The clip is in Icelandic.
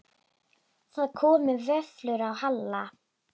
Það komu vöflur á Halla.